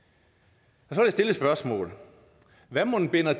så vil jeg stille et spørgsmål hvad mon binder